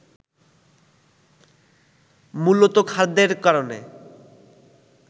মূলতঃ খাদ্যের কারণে